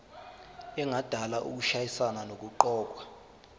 engadala ukushayisana nokuqokwa